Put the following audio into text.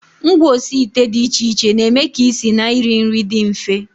Ngwaosiite dị iche iche na-eme ka isi na iri nri dị mfe